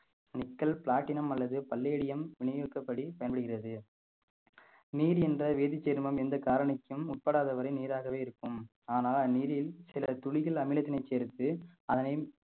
nickle platinum அல்லது palladium விநியோகிக்கும் படி பயன்படுகிறது நீர் என்ற வேதிச் சேர்மம் எந்த காரணிக்கும் உட்படாத வரை நீராகவே இருக்கும் ஆனா அந்நீரில் சில துளிகள் அமிலத்தினை சேர்த்து அதனை